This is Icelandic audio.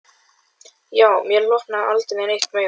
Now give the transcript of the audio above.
Já, mér hlotnaðist aldrei neitt meira.